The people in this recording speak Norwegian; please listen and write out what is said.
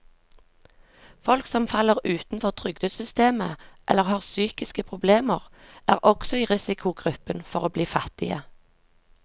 Folk som faller utenfor trygdesystemet eller har psykiske problemer, er også i risikogruppen for å bli fattige.